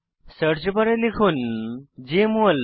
search বারে লিখুন JML